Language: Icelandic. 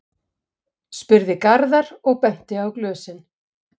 spurði Garðar og benti á glösin.